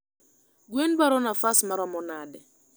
gwen dwaro nafas maromo nade?